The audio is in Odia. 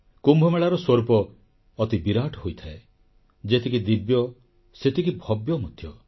କୁମ୍ଭମେଳାର ସ୍ୱରୂପ ଅତି ବିରାଟ ହୋଇଥାଏ ଯେତିକି ଦିବ୍ୟ ସେତିକି ଭବ୍ୟ ମଧ୍ୟ